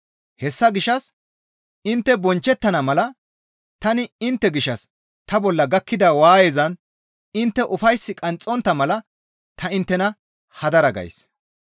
Hessa gishshas intte bonchchettana mala tani intte gishshas ta bolla gakkida waayezan intte ufays qanxxontta mala ta inttena hadara gays.